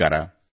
ನಮಸ್ಕಾರ